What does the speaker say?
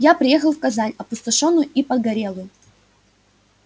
я приехал в казань опустошённую и погорелую